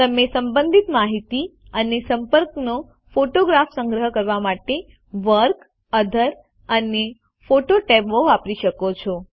તમે સંબંધિત માહિતી અને સંપર્કનો ફોટોગ્રાફ સંગ્રહ કરવા માટે વર્ક ઓથર અને ફોટો ટેબો વાપરી શકો છો